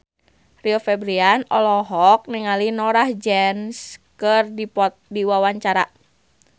Rio Febrian olohok ningali Norah Jones keur diwawancara